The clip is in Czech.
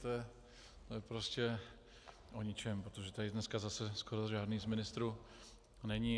To je prostě o ničem, protože tady dneska zase skoro žádný z ministrů není.